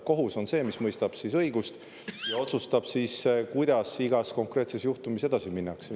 Kohus on see, mis mõistab siis õigust ja otsustab, kuidas igas konkreetses juhtumis edasi minnakse.